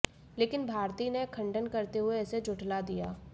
लेकिन भारती ने खंडन करते हुए इसे झुठला दिया